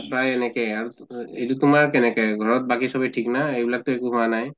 প্ৰায় এনেকে এইটো তোমাৰ কেনেকে ঘৰত বাকী চবে ঠিক না, সেইবিলাকতো একো হোৱা নাই?